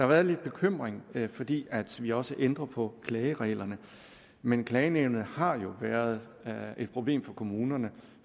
været lidt bekymring fordi vi også ændrer på klagereglerne men klagenævnet har jo været et problem for kommunerne